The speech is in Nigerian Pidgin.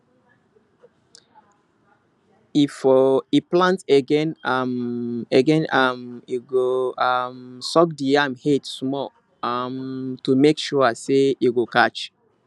efore e plant again um e again um e go um soak the yam head small um to make sure say e go catch